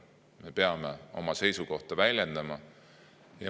Me peame oma seisukohta väljendama.